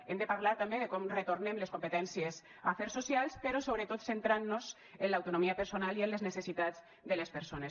hem de parlar també de com retornem les competències a afers socials però sobretot centrant nos en l’autonomia personal i en les necessitats de les persones